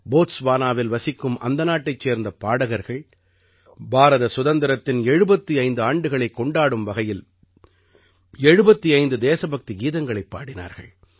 போத்ஸ்வானாவில் வசிக்கும் அந்த நாட்டைச் சேர்ந்த பாடகர்கள் பாரத சுதந்திரத்தின் 75 ஆண்டுகளைக் கொண்டாடும் வகையில் 75 தேசபக்தி கீதங்களைப் பாடினார்கள்